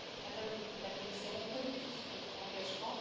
Madame la Commissaire, on connaît tous votre engagement.